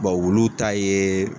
olu ta yee.